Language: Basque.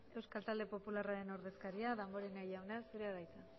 euskal talde popularraren ordezkaria damborenea jauna zurea da hitza